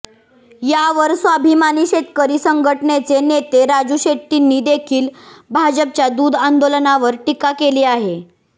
यावर स्वाभिमानी शेतकरी संघटनेचे नेते राजू शेट्टींनी देखील भाजपच्या दूध आंदोलनावर टीका केली आहे